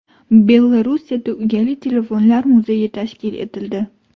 Belorussiyada uyali telefonlar muzeyi tashkil etildi .